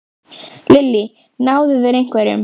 Lillý: Náðu þeir einhverjum?